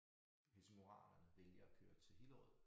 Helsingoranerne vælger at køre til Hillerød